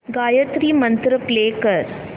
Gayatri mantra play कर